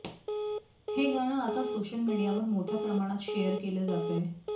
हे गाणं आता सोशल मीडियावर मोठ्या प्रमाणात शेअर केलं जातंय